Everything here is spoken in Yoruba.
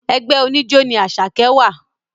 Ẹgbẹ́ oníjó ní Àṣàkẹ́ wà